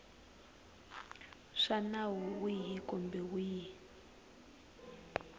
swa nawu wihi kumbe wihi